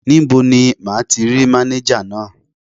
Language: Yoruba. Níbo ni máa ti rí mánéjà náà?